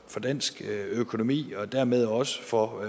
dansk økonomi og dermed også for